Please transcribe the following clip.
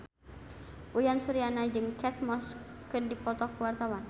Uyan Suryana jeung Kate Moss keur dipoto ku wartawan